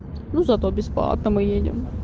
ну зато бесплатно мы едем